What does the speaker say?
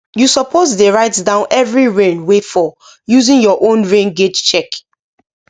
you suppose dey write down every rain wey fall using your own rain gauge check